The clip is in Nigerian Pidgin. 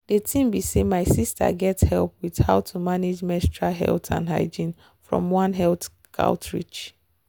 the thing be say my sister get help with how to manage menstrual health and hygiene from one health outreach.